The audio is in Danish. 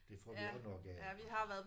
Det får vi også nok af iggå